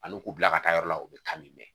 Ani k'u bila ka taa yɔrɔ la u bɛ kan min mɛn